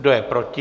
Kdo je proti?